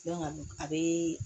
a bɛ